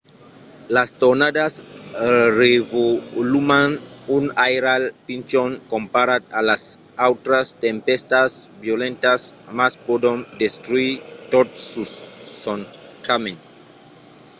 las tornadas revoluman un airal pichon comparat a las autras tempèstas violentas mas pòdon destruire tot sus son camin